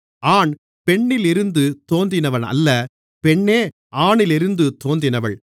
ஆண் பெண்ணிலிருந்து தோன்றினவனல்ல பெண்ணே ஆணிலிருந்து தோன்றினவள்